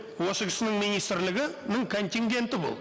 осы кісінің министрлігінің контингенті бұл